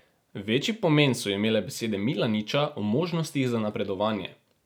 Večji pomen so imele besede Milaniča o možnostih za napredovanje.